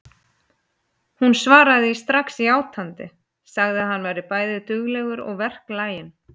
Hún svaraði því strax játandi, sagði að hann væri bæði duglegur og verklaginn.